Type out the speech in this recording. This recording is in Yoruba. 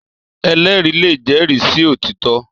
Èlèrí lé jèrí si ótitò